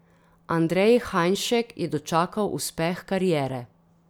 Andrej Hajnšek je dočakal uspeh kariere.